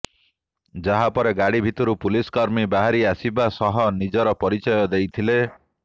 ଯାହା ପରେ ଗାଡ଼ି ଭିତରୁ ପୁଲିସକର୍ମୀ ବାହାରି ଆସିବା ସହ ନିଜର ପରିଚୟ ଦେଇଥିଲେ